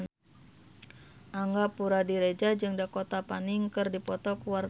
Angga Puradiredja jeung Dakota Fanning keur dipoto ku wartawan